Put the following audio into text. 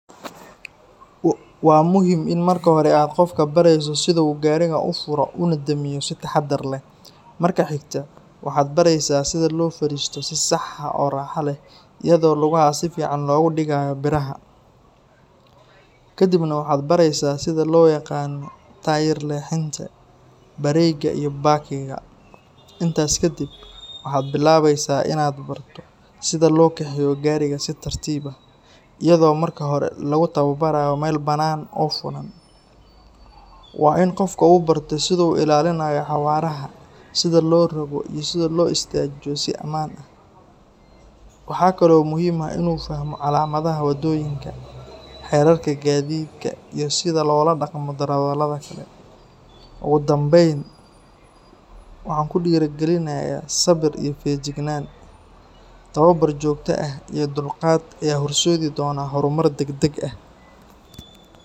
Waa muhim in markii hore aad qofka bareeso siduu gaarigaan ufuro unadhamiyo si taxadar leh, marka xigta waxaad bareesa sidaa loo fadhisto si sax ah oo raaxa leh iyadoo lugaha si fican loo digaayo biraha kadhib nah waxaad bareesa sida loo yaqaano tyre[cs leexinta brake iyo packing ga intaas kadhib waxaad bilaabesa inaad barto sidi gaariga si tartiib ah iyadoo marki hore lagu tawa baraayo meel banaan oo furan, waa in qofku uu barto siduu u ilaalinaayo xawaaraha sida loo rogo iyo sidi loo istaajiyo si amaan ah waxaa kale oo muhim ah inuu fah,o calaamadaha wadooyinka xeerarka gaadidka iyo sida loola dhaqmo darawalada kale. ogudhambeyn ku dhiri galinaya sabir iyo fejignan tawabar joogo ah iyo dhulqaad ayaa horseedi donaa horumar dheg dheg ah.